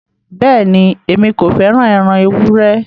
Bẹ́ẹ̀ni, Èmi kò fẹ́ràn ẹran èwùré.